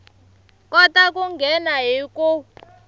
kota ku nghena hi ku